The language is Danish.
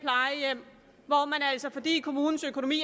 altså fordi kommunens økonomi